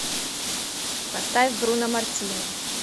поставь бруно мартини